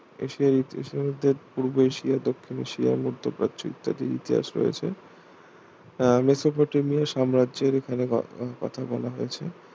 এশিয়ার ইতিহাসের মধ্যে পূর্ব এশিয়া, দক্ষিণ এশিয়া, মধ্য প্রাচ্য ইত্যাদির ইতিহাস রয়েছে আহ মেসোপটেমিয়া সাম্রাজ্যের এখানে ঘটনার কথা বলা হয়েছে